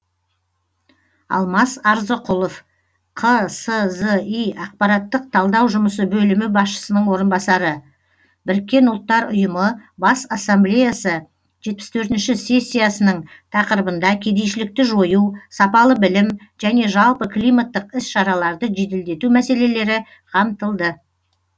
алмас арзықұлов қсзи ақпараттық талдау жұмысы бөлімі басшысының орынбасары біріккен ұлттар ұйымы бас ассамблеясы жетпіс төртінші сессиясының тақырыбында кедейшілікті жою сапалы білім және жалпы климаттық іс шараларды жеделдету мәселелері қамтылды